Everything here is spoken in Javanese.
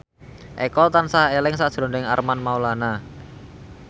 Eko tansah eling sakjroning Armand Maulana